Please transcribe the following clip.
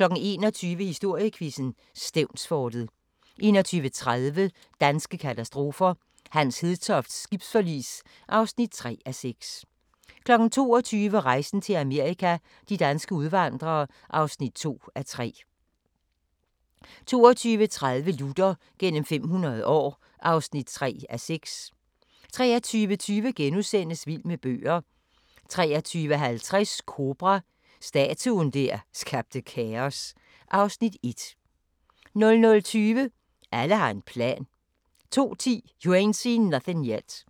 21:00: Historiequizzen: Stevnsfortet 21:30: Danske katastrofer – Hans Hedtofts skibsforlis (3:6) 22:00: Rejsen til Amerika – de danske udvandrere (2:3) 22:30: Luther gennem 500 år (3:6) 23:20: Vild med bøger * 23:50: Kobra – Statuen der skabte kaos (Afs. 1) 00:20: Alle har en plan 02:10: You Ain't Seen Nothin' Yet